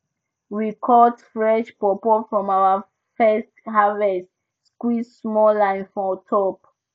we cut fresh pawpaw from our first harvest squeeze small lime for top